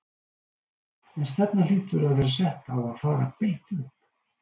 En stefnan hlýtur að vera sett á að fara beint upp?